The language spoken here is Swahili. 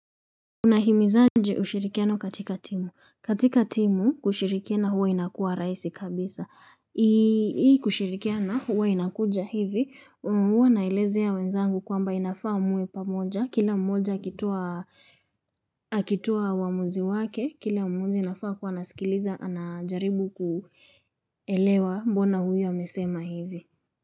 Unahimizaje ushirikiano katika timu. Katika timu, kushirikiana huwa inakuwa rahisi kabisa. Hii kushirikiana huwa inakuja hivi, u huwa naelezea wenzangu kwamba inafaa muwe pamoja. Kila mmoja akitoa uamuzi wake, kila mmoja inafaa kuwa nasikiliza, anajaribu kuelewa mbona huyo amesema hivi.